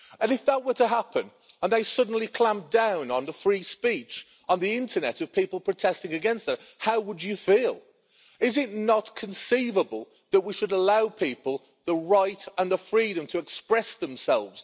If that were to happen and they suddenly clamped down on the free speech on the internet of people protesting against them, how would you feel? Is it not conceivable that we should allow people the right and the freedom to express themselves.